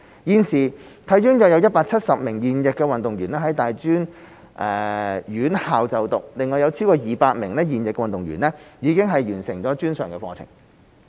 現時體院有約170名現役運動員在大專院校就讀，另有超過200名現役運動員已完成專上課程。